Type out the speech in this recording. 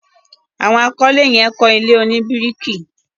àwọn àkọlé yen kọ ilé oní biriki.